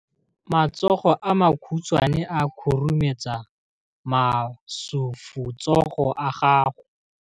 Matsogo a makhutshwane a khurumetsa masufutsogo a gago.